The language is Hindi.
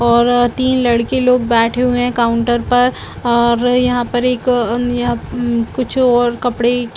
--और अ तीन लड़के लोग बैठे हुए है काउंटर पर और यहाँ पर एक अ अन यहाँ कुछ और कपडे की--